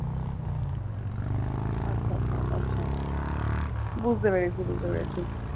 আচ্ছা আচ্ছা okay বুঝতে পেরেছি বুঝতে পেরেছি.